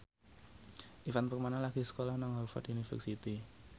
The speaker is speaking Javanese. Ivan Permana lagi sekolah nang Harvard university